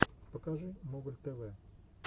покажи моголь тв